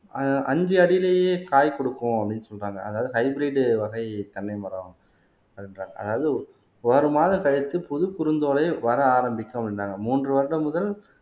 அ அஞ்சு அடியிலேயே காய் கொடுக்கும் அப்படின்னு சொல்றாங்க அதாவது ஹைபிரிட் வகை தென்னை மரம் அப்படின்றாங்க அதாவது ஒரு மாதம் கழித்து புது குருந்தோலை வர ஆரம்பிக்கும் அப்படின்றாங்க மூன்று வருடம் முதல்